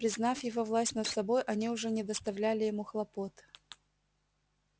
признав его власть над собой они уже не доставляли ему хлопот